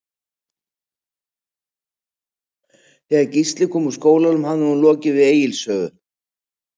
Þegar Gísli kom úr skólanum hafði hún lokið við Egils sögu.